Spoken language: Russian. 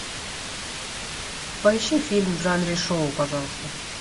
поищи фильм в жанре шоу пожалуйста